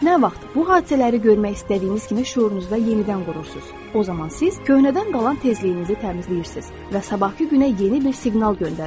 Nə vaxt bu hadisələri görmək istədiyiniz kimi şüurunuzda yenidən qurursunuz, o zaman siz köhnədən qalan tezliyinizi təmizləyirsiniz və sabahkı günə yeni bir siqnal göndərirsiniz.